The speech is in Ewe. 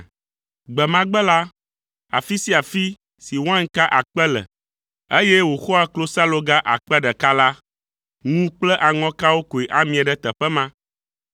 Gbe ma gbe la, afi sia afi si wainka akpe le, eye wòxɔa klosaloga akpe ɖeka (1,000) la, ŋu kple aŋɔkawo koe amie ɖe teƒe ma.